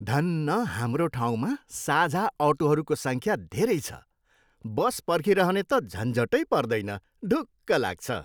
धन्न हाम्रो ठाउँमा साझा अटोहरूको सङ्ख्या धेरै छ। बस पर्खिरहने त झन्झटै पर्दैन। ढुक्क लाग्छ।